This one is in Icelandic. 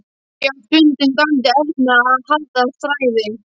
Ég á stundum dálítið erfitt með að halda þræði.